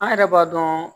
An yɛrɛ b'a dɔn